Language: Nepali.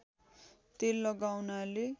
तेल लगाउनाले